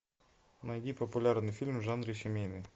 найди популярные фильмы в жанре семейный